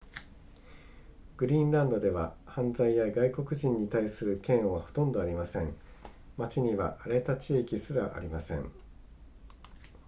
グリーンランドでは犯罪や外国人に対する嫌悪はほとんどありません町には荒れた地域すらありません